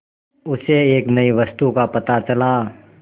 उसे एक नई वस्तु का पता चला